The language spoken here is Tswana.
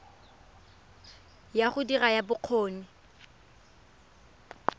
ya go dira ya bokgoni